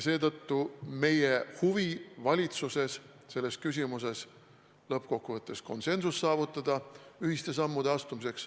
Seetõttu on meil valitsuses väga suur huvi saavutada lõppkokkuvõttes selles küsimuses konsensus ühiste sammude astumiseks.